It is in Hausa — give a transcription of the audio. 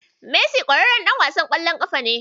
Messi ƙwararren ɗan wasan ƙwallon ƙafa ne.